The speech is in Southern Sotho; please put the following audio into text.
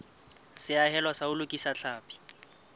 seahelo sa ho lokisa tlhapi